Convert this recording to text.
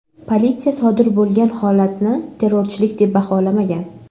Politsiya sodir bo‘lgan holatni terrorchilik deb baholamagan.